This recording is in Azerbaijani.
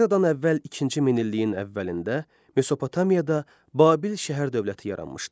Eradan əvvəl ikinci minilliyin əvvəlində Mesopotamiyada Babil şəhər-dövləti yaranmışdı.